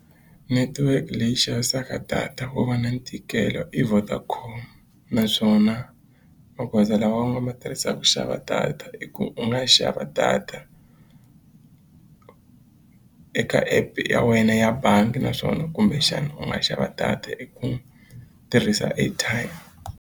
Network leyi yi xavisaka data wo va na ntikelo i Vodacom naswona magoza lama u nga ma tirhisaka ku xava data i ku u nga xava data eka app ya wena ya bangi naswona kumbexana u nga xava data hi ku tirhisa airtime.